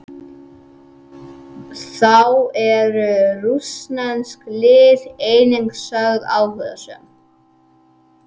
Þá eru rússnesk lið einnig sögð áhugasöm.